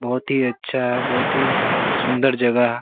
बहोत ही अच्छा और बहोत ही सुंदर जगह --